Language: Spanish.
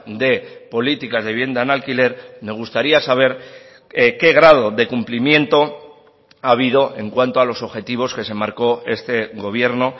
de políticas de vivienda en alquiler me gustaría saber qué grado de cumplimiento ha habido en cuanto a los objetivos que se marcó este gobierno